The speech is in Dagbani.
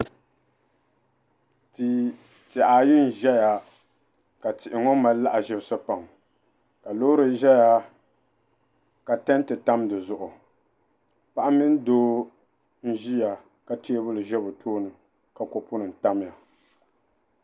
Tiha ayi nzeya ka tihi ŋo mali lahazib si pam ka loori zeya ka tanti tamdi zuhu paɣa mini doo nziya ka teebuli ze bi tooini ka kopu nim tamya